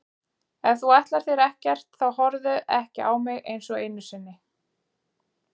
Ef þú ætlar þér ekkert þá horfðu ekki á mig einsog einu sinni.